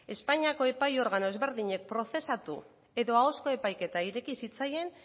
espainiako epai organo ezberdinek prozesatu edo ahozko epaiketa ireki zitzaien